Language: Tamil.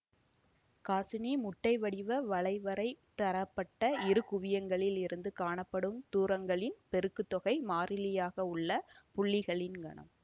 காசினி முட்டைவடிவ வளைவரை தரப்பட்ட இரு குவியங்களில் இருந்து காணப்படும் தூரங்களின் பெருக்குத் தொகை மாறிலியாக உள்ள புள்ளிகளின் கணம்